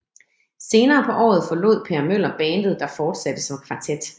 Senere på året forlod Per Møller bandet der fortsatte som kvartet